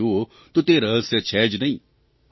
આમ જુઓ તો તે રહસ્ય છે જ નહીં